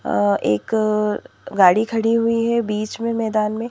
अ एक गाड़ी खड़ी हुई है बीच में मैदान में.